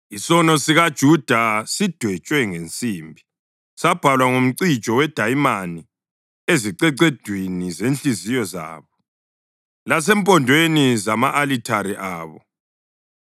“Isono sikaJuda sidwetshwe ngensimbi, sabhalwa ngomcijo wedayimani ezicecedwini zenhliziyo zabo lasempondweni zama-alithare abo.